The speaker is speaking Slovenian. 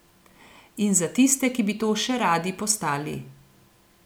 In za tiste, ki bi to še radi postali.